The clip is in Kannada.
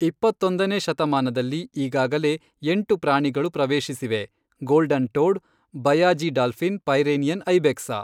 ಇಪ್ಪತ್ತೊಂದನೆ ಶತಮಾನದಲ್ಲಿ ಈಗಾಗಲೇ ಎಂಟು ಪ್ರಾಣಿಗಳು ಪ್ರವೇಶಿಸಿವೆ, golden toad baiji dolphin Pyrenean ibex